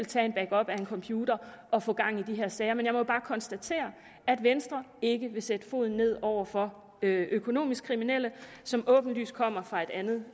tage en backup af en computer og få gang i de her sager men jeg må bare konstatere at venstre ikke vil sætte foden ned over for økonomisk kriminelle som åbenlyst kommer fra et andet